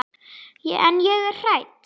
En ég er hrædd.